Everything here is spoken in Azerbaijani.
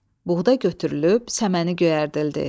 Buğda götürülüb səməni göyərdildi.